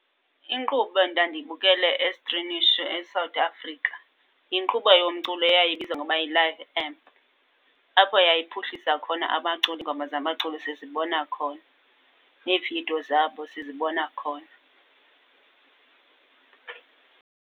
Inkqubo endandiyibukele estrimisha eSouth Africa yinkqubo yomculo eyayibizwa ngoba yiLive Amp. Apho yayiphuhlisa khona abaculi, iingoma zabaculi sizibona khona, neevidiyo zabo sizibona khona.